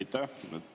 Aitäh!